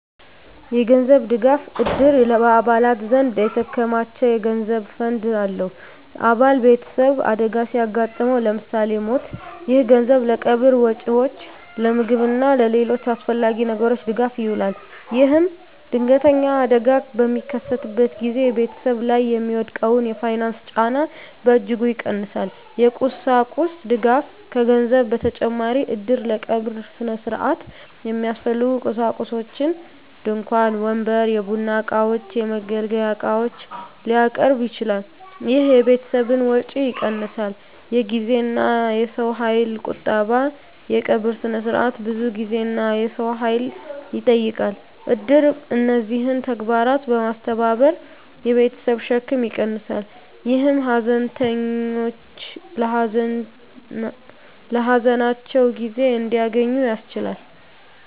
የገንዘብ ድጋፍ: እድር በአባላት ዘንድ የተከማቸ የገንዘብ ፈንድ አለው። አባል ቤተሰብ አደጋ ሲያጋጥመው (ለምሳሌ ሞት)፣ ይህ ገንዘብ ለቀብር ወጪዎች፣ ለምግብ እና ለሌሎች አስፈላጊ ነገሮች ድጋፍ ይውላል። ይህም ድንገተኛ አደጋ በሚከሰትበት ጊዜ ቤተሰብ ላይ የሚወድቀውን የፋይናንስ ጫና በእጅጉ ይቀንሳል። የቁሳቁስ ድጋፍ: ከገንዘብ በተጨማሪ እድር ለቀብር ሥነ ሥርዓት የሚያስፈልጉ ቁሳቁሶችን (ድንኳን፣ ወንበር፣ የቡና እቃዎች፣ የመገልገያ ዕቃዎች) ሊያቀርብ ይችላል። ይህ የቤተሰብን ወጪ ይቀንሳል። የጊዜና የሰው ኃይል ቁጠባ: የቀብር ሥነ ሥርዓት ብዙ ጊዜና የሰው ኃይል ይጠይቃል። እድር እነዚህን ተግባራት በማስተባበር የቤተሰብን ሸክም ይቀንሳል፣ ይህም ሀዘንተኞች ለሀዘናቸው ጊዜ እንዲያገኙ ያስችላል።